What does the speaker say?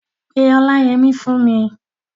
Pe Ọláyẹmí fún mi!